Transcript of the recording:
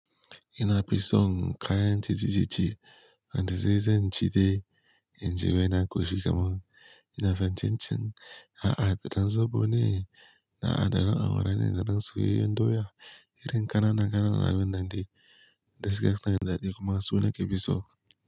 Ina fison kayan titici ci, wanda zai zancidai in ji waina ƙoshi kaman. Ina fatan cin a'adadan zoɓo ne, na'aɗan awara ne'ɗan soyeye ndoya, irin kana na kananan abun nan de, gas kiya na yan daɗi kuma suna ke fiso.